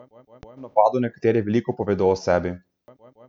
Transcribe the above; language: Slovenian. Z nivojem napadov nekateri veliko povedo o sebi.